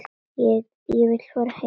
Ég vil fara heim.